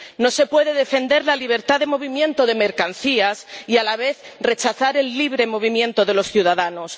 No se puede defender la libertad de movimiento de mercancías y a la vez rechazar el libre movimiento de los ciudadanos.